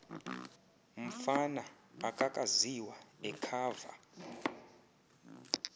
mfana akakaziwa ekhava